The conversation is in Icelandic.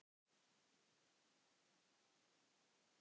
ég ætlaði bara rétt aðeins.